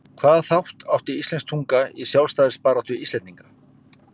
Hvaða þátt átti íslensk tunga í sjálfstæðisbaráttu Íslendinga?